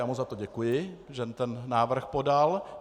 Já mu za to děkuji, že ten návrh podal.